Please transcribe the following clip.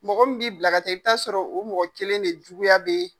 Mɔgɔ min b'i bila ka taa i bi t'a sɔrɔ o mɔgɔ kelen de juguya bɛ yen